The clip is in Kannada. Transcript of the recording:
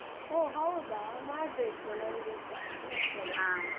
ಓ ಹೌದಾ? ಮಾಡ್ಬೇಕು ನಂಗೆಸ.